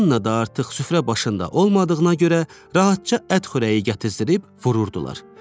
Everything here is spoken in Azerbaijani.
Anna da artıq süfrə başında olmadığına görə rahatca ət xörəyi gətizdirib vururdular.